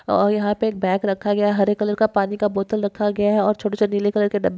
अ यहा पे एक बॅग रखा गया हरे कलर का पाणी का बोट्ल रखा गया और छोटे छोटे निले कलर के डब्ब --